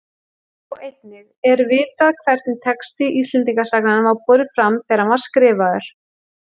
Sjá einnig Er vitað hvernig texti Íslendingasagnanna var borinn fram þegar hann var skrifaður?